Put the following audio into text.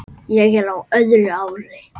Ég er á öðru ári.